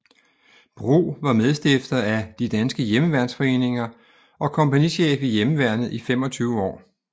Bro var medstifter af De danske Hjemmeværnsforeninger og kompagnichef i Hjemmeværnet i 25 år